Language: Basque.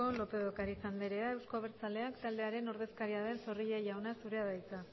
lópez de ocariz andrea euzko abertzaleak taldearen ordezkaria den zorrilla jauna zurea da hitza